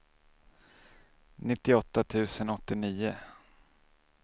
nittioåtta tusen åttionio